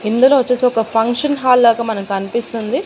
ఇందులో ఓచ్చేసి ఒక ఫంక్షన్ హాల్ లాగా మనకు కనిపిస్తుంది.